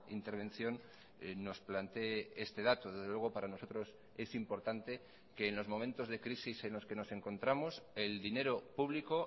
intervención nos plantee este dato desde luego para nosotros es importante que en los momentos de crisis en los que nos encontramos el dinero público